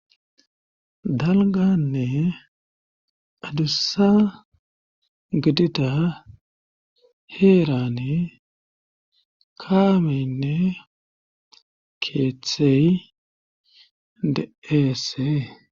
Dalganne adussa gidida heerane kaameynne keeththeyy de7eese.